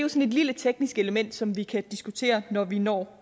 et lille teknisk element som vi kan diskutere når vi når